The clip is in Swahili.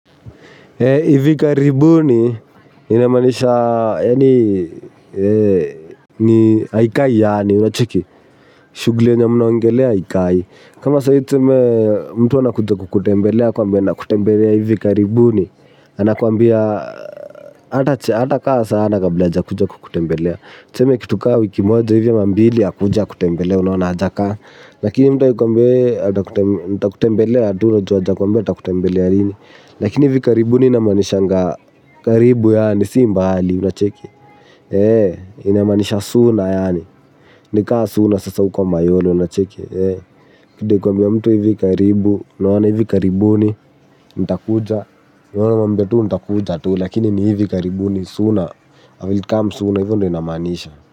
Ivi karibuni inamanisha aikai yaani unacheki shugli enye mnaoangelea aikai. Kama sahii tuseme mtu anakuja kukutembelea akuambie anakutembelea ivi karibuni. Anakwambia atakaa sana kabla ajakuja kukutembelea. Tuseme kitu ka wiki moja ivi ama mbili akuja akutembelee unaona hajakaa. Lakini mtu akikuambia wewe nitakutembelea tu unajua ajakuambia atakutembelea lini. Lakini hivi karibuni inamanishanga karibu yaani si mbali unacheki. Inamanisha sula yaani. Nikaa sula sasa uko mayolo unacheki ndio kuambia mtu hivi karibu. Naona hivi karibuni, ntakuja. We unamwambia tuu ntakuja tuu lakini ni hivi karibuni sooner, I will come sooner hivo ndo inamaanisha.